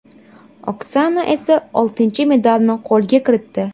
Oksana esa oltinchi medalni qo‘lga kiritdi.